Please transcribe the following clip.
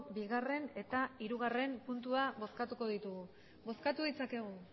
bigarren eta hirugarren puntua bozkatuko ditugu bozkatu ditzakegu